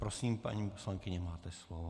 Prosím, paní poslankyně, máte slovo.